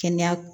Kɛnɛya